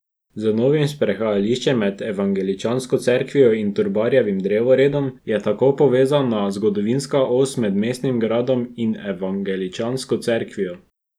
Z novim sprehajališčem med evangeličansko cerkvijo in Trubarjevim drevoredom je tako povezana zgodovinska os med mestnim gradom in evangeličansko cerkvijo.